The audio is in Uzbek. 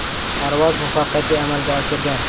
Parvoz muvaffaqiyatli amalga oshirgan.